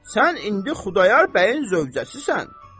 Sən indi Xudayar bəyin zövcəsisən.